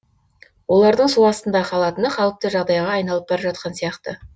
олардың су астында қалатыны қалыпты жағдайға айналып бара жатқан сияқты